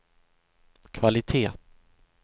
kvalitet